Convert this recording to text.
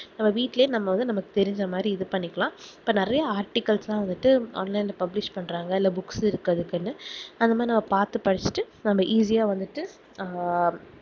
நம்ம வீட்டுலே நமக்கு தெரிஞ்ச மாதிரி இது பண்ணிக்கலாம் இப்போ நெறைய articals லாம் வந்துட்ட online ல publish பண்றாங்கஇல்ல books இருக்குரதுக்குனு அது மாதிரி பாத்துபடிச்சினு நம்ம easy யா வந்துட்டு அஹ்